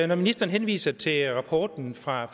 når ministeren henviser til rapporten fra